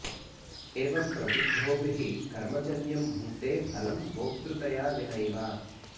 एवं प्रबुद्धोऽपि हि कर्मजन्यं भुङ्क्ते फलं भोक्तृतया विनैव